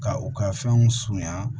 Ka u ka fɛnw surunya